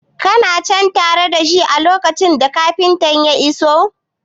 Kana cen tare da shi a lokacin da kafintan ya iso?